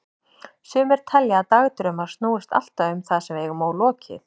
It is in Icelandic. Sumir telja að dagdraumar snúist alltaf um það sem við eigum ólokið.